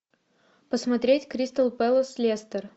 посмотреть кристал пэлас лестер